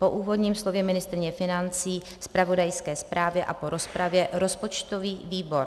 Po úvodním slově ministryně financí, zpravodajské zprávě a po rozpravě rozpočtový výbor